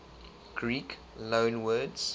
greek loanwords